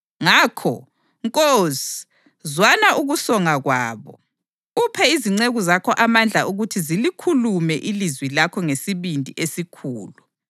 Ngakho, Nkosi, zwana ukusonga kwabo, uphe izinceku zakho amandla ukuthi zilikhulume ilizwi lakho ngesibindi esikhulu.